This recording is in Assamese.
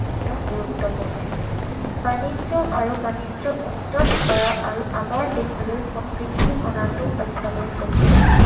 শিক্ষা গুৰুত্বপূৰ্ণ। বাণিজ্য, আৰু বাণিজ্য উন্নত কৰা আৰু আমাৰ দেশলৈ সমৃদ্ধি অনাটো অত্যাৱশ্যকীয়।